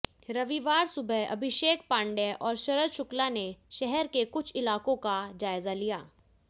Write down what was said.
रविवार सुबह अभिषेक पाण्डेय और शरद शुक्ला ने शहर के कुछ इलाकों का जायजा लिया